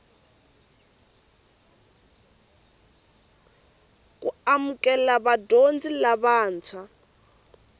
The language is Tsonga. ku amukela vadyondzi vantshwa